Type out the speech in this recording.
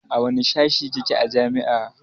A wanne sashe kike a jami'a?